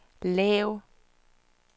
lav